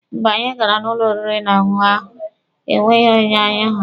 Mgbe anyị gara n'ụlọ oriri na ọṅụṅụ ahụ, e nweghị onye anyị hụrụ.